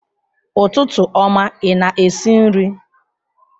Ụtụtụ ọma, ị na-esi nri?